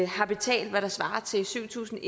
har betalt hvad der svarer til syv tusind